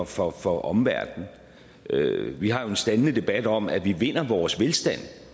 for for omverdenen vi har en standende debat om at vi vinder vores velstand